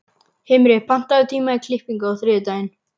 Himri, pantaðu tíma í klippingu á þriðjudaginn.